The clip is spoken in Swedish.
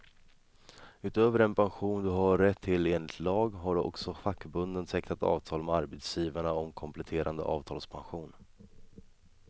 Utöver den pension du har rätt till enligt lag, har också fackförbunden tecknat avtal med arbetsgivarna om kompletterande avtalspension.